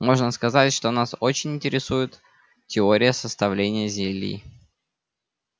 можно сказать что нас очень интересует теория составления зелий